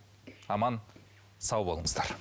аман сау болыңыздар